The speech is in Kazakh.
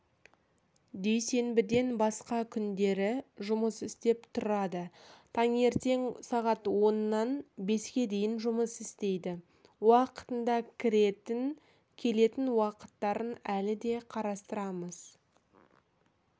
дүйсенбіден басқа күндері жұмыс істеп тұрады таңертең сағат оннан беске дейін жұмыс істейді уақытында кіретін келетін уақыттарын әлі де қарастырамыз